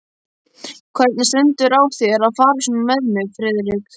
Hvernig stendur á þér að fara svona með mig, Friðrik?